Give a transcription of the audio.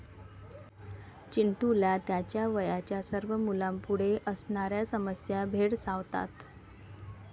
चिंटूला त्याच्या वयाच्या सर्व मुलांपुढे असणाऱ्या समस्या भेडसावतात.